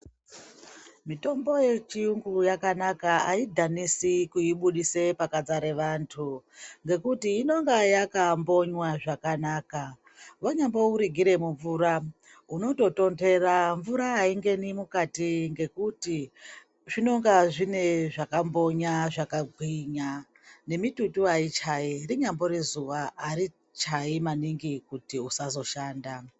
Mitombo yechiyungu yakanaka aidhanisi kuibuditse pakadzara wandu nekuti inenge yakambonywa zvakanaka wambo unoirigire mumvura unototonhera , aingeni mukati zvinonga zvine zvakambonya zvakagwinya, ngemitutu aichayi kunyambori zuwa ari chayi maningi kuti usazoshanda.